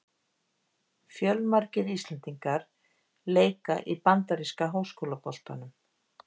Fjölmargir íslendingar leika í bandaríska háskólaboltanum.